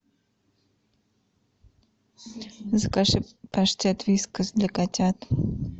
закажи паштет вискас для котят